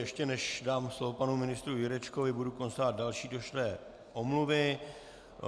Ještě než dám slovo panu ministru Jurečkovi, budu konstatovat další došlé omluvy.